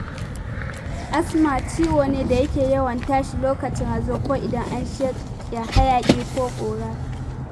Asma ciwo ne da yake yawan tashi lokacin hazo ko idan an shaƙi hayaƙi ko ƙura